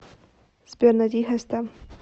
сбер найди хэстам